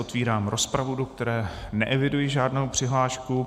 Otevírám rozpravu, do které neeviduji žádnou přihlášku.